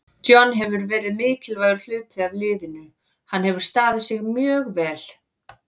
John hefur verið mikilvægur hluti af liðinu, hann hefur staðið sig mjög vel.